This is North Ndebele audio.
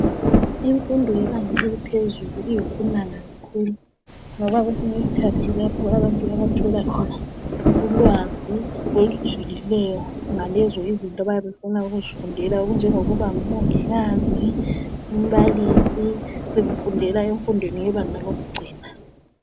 Imfundo yebanga eliphezulu iyisimanga kakhulu ngoba kwesinye isikhathi kulapho abantu abathola khona ulwazi olujulileyo ngalezo izinto abayabe befuna ukuzifundela okunjengokuba ngumongikazi, umbalisi sekufundelwa emfundweni yebanga lokugcina.